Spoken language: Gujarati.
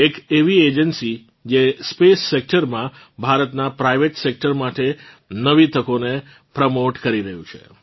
એક એવી એજન્સી કે જે સ્પેસ સેક્ટર માં ભારતનાં પ્રાઇવેટ Sectorમાટે નવી તકોને પ્રોમોટે કરી રહી છે